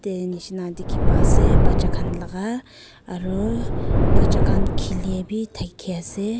nishina diki pai ase bacha kan laka aroo bacha kan kili b daki ase.